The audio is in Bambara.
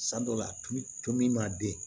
San dɔw la tulu ma den